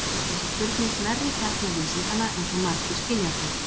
Þannig fer þessi spurning nærri kjarna vísindanna eins og margir skilja þau.